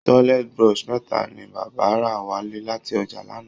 Toilet brush mẹ̀ta ni bàbá rà wálé láti ọjà lánàá